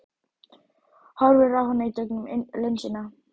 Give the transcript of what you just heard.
Horfir á hana í gegnum linsuna.